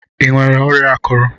Ịnwere ọrịa akụrụ?